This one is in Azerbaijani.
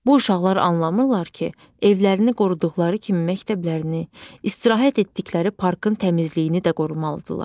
Bu uşaqlar anlamırlar ki, evlərini qoruduqları kimi məktəblərini, istirahət etdikləri parkın təmizliyini də qorumalıdırlar.